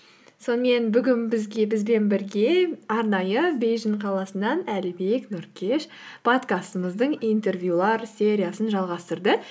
сонымен бүгін бізбен бірге арнайы бейжің қаласынан әлібек нұркеш подкастымыздың интервьюлар сериясын жалғастырды